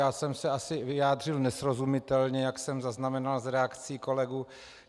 Já jsem se asi vyjádřil nesrozumitelně, jak jsem zaznamenal z reakcí kolegů.